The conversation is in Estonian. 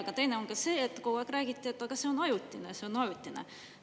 Aga teine on ka see, et kogu aeg räägiti, et see on ajutine, see on ajutine.